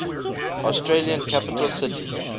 australian capital cities